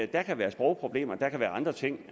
der kan være sprogproblemer og andre ting